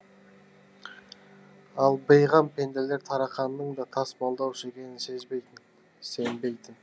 ал бейғам пенделер тарақанның да тасымалдаушы екенін сезбейтін сенбейтін